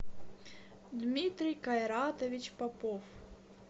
дмитрий кайратович попов